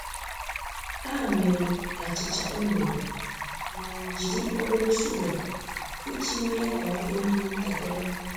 Ha mere achịcha unere mana jiri obere shuga iji mee ka ọ dị mma ntakịrị.